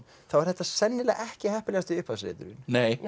þá er þetta sennilega ekki heppilegasti upphafsreiturinn